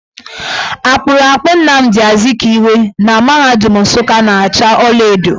Akpụrụakpụ Namdị Azikiwe na mahadum Nsukka na acha ọlaedo.